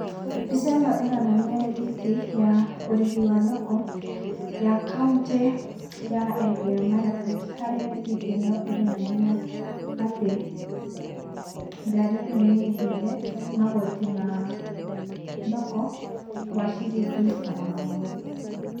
Mbica ĩno ĩranania rĩthiti ya ũrĩhi wa thoko ya kauntĩ ya Elgio marakwet harĩa rĩthiti ĩno ĩranania atĩ ngari ĩno nĩ ĩrĩhĩire magoti ma thoko, wa ciringi magana merĩ.